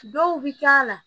Dɔw bi k'a la